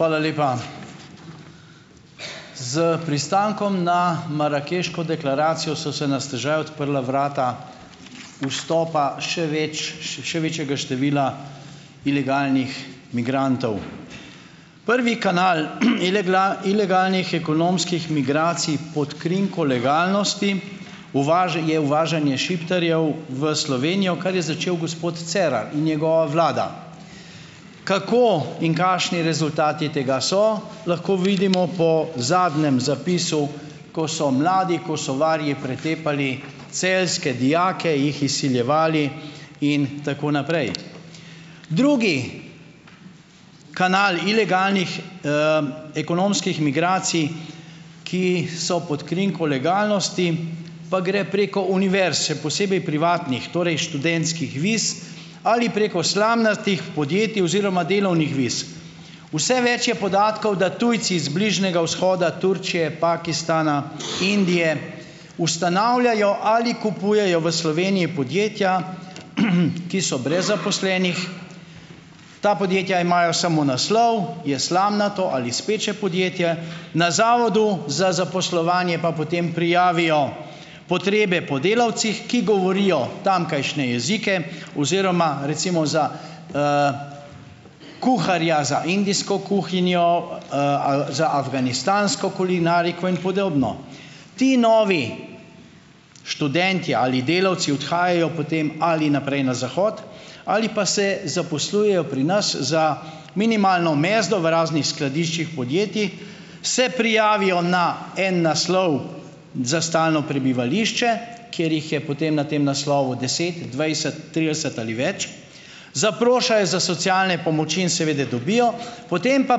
Hvala lepa. S pristankom na marakeško deklaracijo so se na stežaj odprla vrata vstopa še več, še večjega števila ilegalnih migrantov. Prvi kanal, ilegalnih ekonomskih migracij pod krinko legalnosti je uvažanje Šiptarjev v Slovenijo, kar je začel gospod Cerar in njegova vlada. Kako in kakšni rezultati tega so, lahko vidimo po zadnjem zapisu, ko so mladi Kosovarji pretepali celjske dijake, jih izsiljevali in tako naprej. Drugi kanal ilegalnih, ekonomskih migracij, ki so pod krinko legalnosti, pa gre preko univerz, še posebej privatnih, torej študentskih viz ali preko slamnatih podjetij oziroma delovnih viz. Vse več je podatkov, da tujci z Bližnjega vzhoda Turčije, Pakistana, Indije, ustanavljajo ali kupujejo v Sloveniji podjetja, ki so brez zaposlenih. Ta podjetja imajo samo naslov, je slamnato ali speče podjetje, na zavodu za zaposlovanje pa potem prijavijo potrebe po delavcih, ki govorijo tamkajšnje jezike oziroma, recimo za, kuharja za indijsko kuhinjo, za afganistansko kulinariko in podobno. Ti novi študentje ali delavci odhajajo potem ali naprej na zahod ali pa se zaposlujejo pri nas za minimalno mezdo v raznih skladiščih podjetij, se prijavijo na en naslov za stalno prebivališče, kjer jih je potem na tem naslovu deset, dvajset, trideset ali več, zaprošajo za socialne pomoči in seveda dobijo, potem pa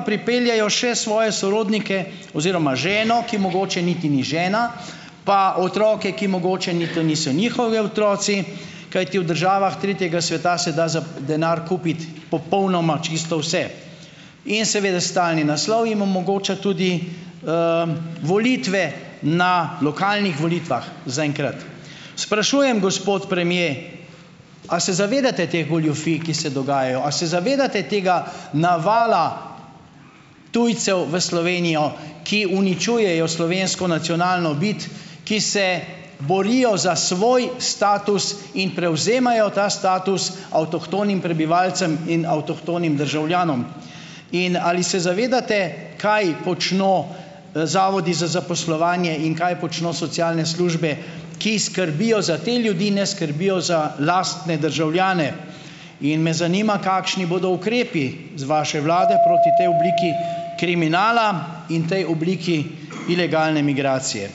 pripeljejo še svoje sorodnike oziroma ženo, ki mogoče niti ni žena, pa otroke, ki mogoče niti niso njihovi otroci, kajti v državah tretjega sveta se da za, denar kupiti popolnoma čisto vse. In seveda stalni naslov jim omogoča tudi, volitve na lokalnih volitvah, zaenkrat. Sprašujem, gospod premier: "A se zavedate teh goljufij, ki se dogajajo? A se zavedate tega navala tujcev v Slovenijo, ki uničujejo slovensko nacionalno bit, ki se borijo za svoj status in prevzemajo ta status avtohtonim prebivalcem in avtohtonim državljanom? In ali se zavedate, kaj počno, zavodi za zaposlovanje in kaj počno socialne službe, ki skrbijo za te ljudi, ne skrbijo za lastne državljane?" In me zanima, kakšni bodo ukrepi z vaše vlade proti tej obliki kriminala in tej obliki ilegalne migracije.